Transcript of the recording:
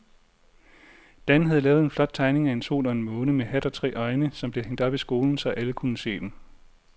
Dan havde lavet en flot tegning af en sol og en måne med hat og tre øjne, som blev hængt op i skolen, så alle kunne se den.